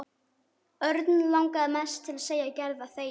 Örn langaði mest til að segja Gerði að þegja.